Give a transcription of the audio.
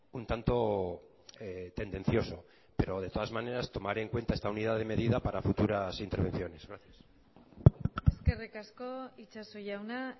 un tanto tendencioso pero de todas maneras tomaré en cuenta esta unidad de medida para futuras intervenciones gracias eskerrik asko itxaso jauna